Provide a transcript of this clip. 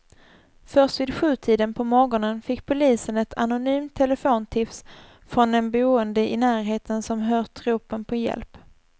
Först vid sjutiden på morgonen fick polisen ett anonymt telefontips från en boende i närheten som hört ropen på hjälp.